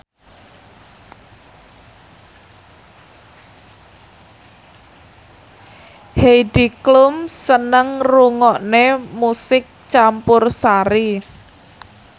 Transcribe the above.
Heidi Klum seneng ngrungokne musik campursari